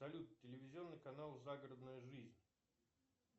салют телевизионный канал загородная жизнь